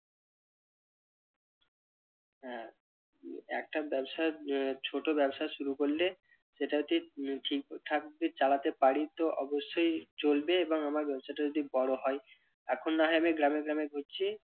হ্যাঁ একটা ব্যবসা আহ ছোট ব্যবসা শুরু করলে সেটা ঠিক ঠিকঠাক যদি চালাতে পারি তো অবশ্যই চলবে এবং আমার ব্যবসাটা যদি বড় হয় এখন না হয় আমি গ্রামে গ্রামে ঘুরছি